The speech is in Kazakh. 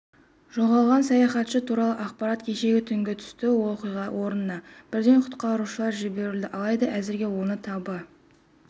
жоғалған саяхатшы туралы ақпарат кеше түнгі түсті оқиға орнына бірден құтқарушылар жіберілді алайда әзірге оны таба